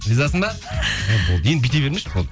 ризасың ба енді бүйте бермеші болды